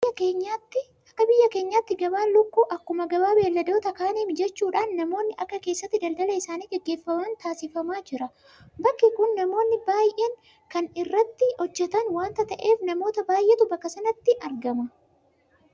Akka biyya keenyaattu gabaan lukkuu akkuma gabaa beelladoota kaanii mijachuudhaan namoonni akka keessatti daldala isaanii gaggeeffatan taasifamaa jira. Bakki kun namoonni baay'een kan irratti hojjetan waanta ta'eef namoota baay'eetu bakka sanatti argama.